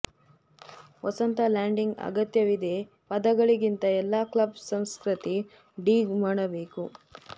ವಸಂತ landing ಅಗತ್ಯವಿದೆ ಪದಗಳಿಗಿಂತ ಎಲ್ಲಾ ಕ್ಲಬ್ ಸಂಸ್ಕೃತಿ ಡಿಗ್ ಮಾಡಬೇಕು